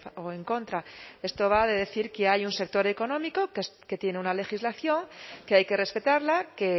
o en contra esto va de decir que hay un sector económico que tiene una legislación que hay que respetarla que